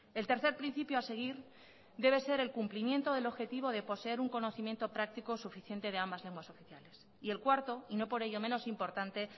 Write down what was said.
el tercer principio a seguir debe ser el cumplimiento del objetivo de poseer un conocimiento práctico suficiente de ambas lenguas oficiales y el cuarto y no por ello el menos importante